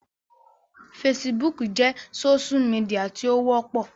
Fesibúùkù jẹ́ sósú midià tí ó wọ́pọ̀